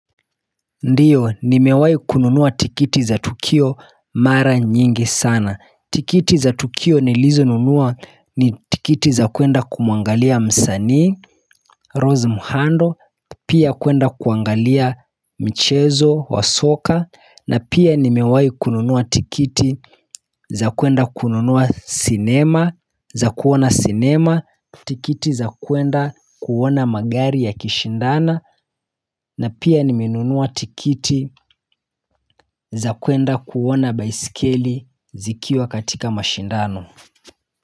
Ndiyo nimewahi kununua tikiti za tukio mara nyingi sana tikiti za tukio nilizonunua ni tikiti za kuenda kumwangalia msanii rose muhando pia kuenda kuangalia michezo wa soka na pia nimewahi kununua tikiti za kuenda kununua cinema za kuona cinema tikiti za kuenda kuona magari yakishindana na pia nimenunua tikiti za kuenda kuona baisikeli zikiwa katika mashindano.